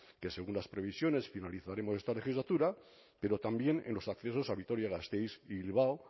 que según las previsiones finalizaremos en esta legislatura pero también en los accesos a vitoria gasteiz y bilbao